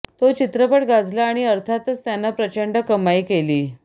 तो चित्रपट गाजला आणि अर्थातच त्यानं प्रचंड कमाई केली